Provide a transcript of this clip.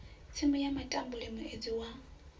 tsimu ya matambule muedzini wa